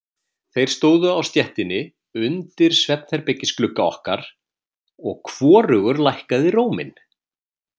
Þeir stóðu á stéttinni undir svefnherbergisglugga okkar, og hvorugur lækkaði róminn.